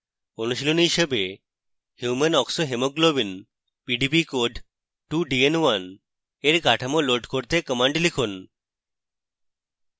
অনুশীলনী হিসাবে human oxyhemoglobin pdb code: 2dn1 এর কাঠামো লোড করতে কম্যান্ড লিখুন